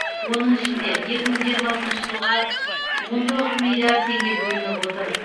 оның ішінде екі мың жиырмасыншы жылға он тоғыз миллиард теңге бөлініп отыр